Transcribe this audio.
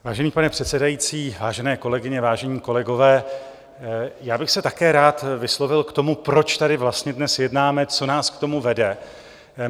Vážený pane předsedající, vážené kolegyně, vážení kolegové, já bych se také rád vyslovil k tomu, proč tady vlastně dnes jednáme, co nás k tomu vede.